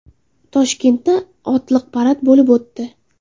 Toshkentda otliq parad bo‘lib o‘tdi .